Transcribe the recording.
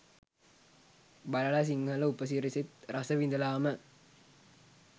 බලල සිංහල උපසිරැසිත් රස විඳලාම